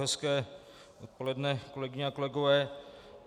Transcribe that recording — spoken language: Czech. Hezké odpoledne, kolegyně a kolegové.